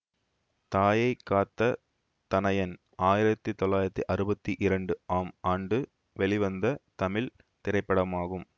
தாயை காத்த தனயன் ஆயிரத்தி தொள்ளாயிரத்தி அறுவத்தி இரண்டு ஆம் ஆண்டு வெளிவந்த தமிழ் திரைப்படமாகும்